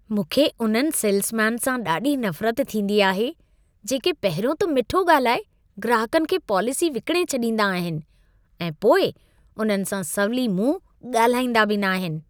मूंखे उन्हनि सेल्समैन खां ॾाढी नफ़रत थींदी आहे, जेके पहिरियों त मिठो ॻाल्हाए ग्राहकनि खे पॉलिसी विकिणे छॾींदा आहिनि ऐं पोइ उन्हनि सां सवली मुंहं ॻाल्हाईंदा बि न आहिनि।